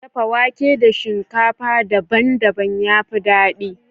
Dafa wake da shinkafa daban-daban ya fi daɗi.